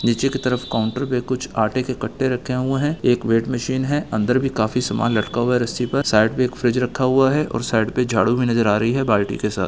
नीचे की तरफ काउंटर पे कुछ आटे के कट्टे रखे हुए हैं एक वेइट मशीन हैं अंदर भी काफी सम्मान लटका हुआ हैं रस्सी पर साइड पे एक फ्रिज रखा हुआ हैं और साइड पे झाडु भी नज़र आ रही हैं बालटी के साथ।